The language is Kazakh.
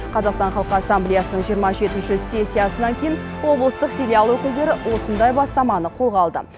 қазақстан халқы ассамблеясының жиырма жетінші сессиясынан кейін облыстық филиал өкілдері осындай бастаманы қолға алды